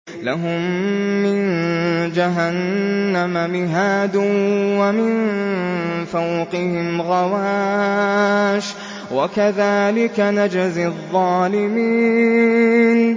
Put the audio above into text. لَهُم مِّن جَهَنَّمَ مِهَادٌ وَمِن فَوْقِهِمْ غَوَاشٍ ۚ وَكَذَٰلِكَ نَجْزِي الظَّالِمِينَ